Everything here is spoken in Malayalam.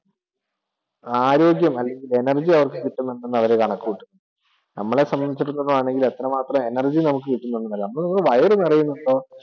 ആരോഗ്യം അല്ലെങ്കിൽ energy കിട്ടുന്നുണ്ടെന്നു അവർ കണക്കു കൂട്ടും. നമ്മളെ സംബന്ധിച്ചിടത്തോളം ആണെങ്കില് എത്രമാത്രം energy നമുക്ക് കിട്ടുന്നുണ്ടെന്നല്ല നമ്മുടെ വയർ നിറയുന്നുണ്ടോ